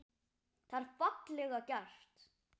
Þetta er fallega gert.